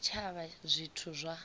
ya tshitshavha na zwithu zwa